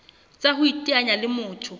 tsa ho iteanya le motho